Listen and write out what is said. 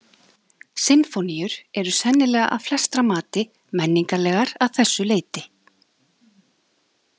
Sinfóníur eru sennilega að flestra mati menningarlegar að þessu leyti.